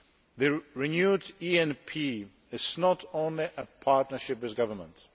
The renewed ENP is not only a partnership with governments